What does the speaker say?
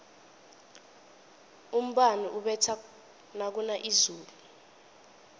umbani ubetha nakuna izulu